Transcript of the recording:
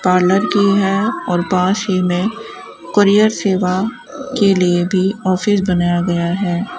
Parlour की है और पास ही में कोरियर सेवा के लिए भी ऑफिस बनाया गया है।